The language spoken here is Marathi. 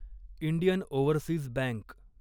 Indian overseas bank